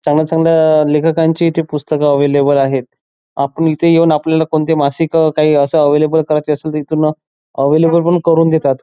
चांगल्या चांगल्या लेखकांची पुस्तक इथे अवेलेबल आहेत आपण इथे येऊन आपल्याला कोणती मासिक अस अवेलेबल करायची असेल तर इथून अवेलेबल पण करून देतात.